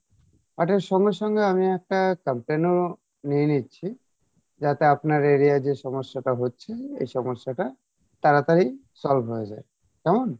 এটার সঙ্গে সঙ্গে আমি একটা complain ও নিয়ে নিচ্ছি যাতে আপনার area ই যে সমস্যাটা হচ্ছে এই সমস্যাটা তারাতারি solve হয়ে যাই কেমন?